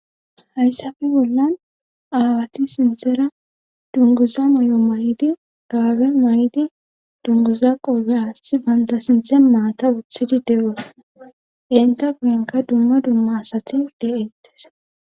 Hayssafe bollan aawati sinthara dunguza moy7o may7di gaabe may7di dunguza qoobe aathidi banta sinthe maata wothidi dewos enta guyenka dumma dumma asati de7eettes.